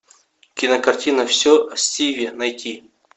кинокартина все о стиве найти